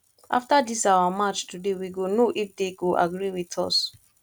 after dis our march today we go know if dey go agree with us